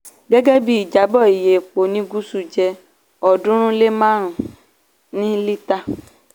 gẹ́gẹ́ bí ìjábọ́ iye epo ní gúsù jẹ́ ọ̀ọ́dúnrún lé márùn-ún ní lítà.